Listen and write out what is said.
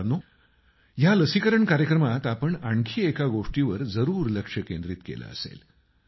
मित्रांनो या लसीकरण कार्यक्रमात आपण आणखी एका गोष्टीवर जरूर लक्ष केंद्रित केलं असेल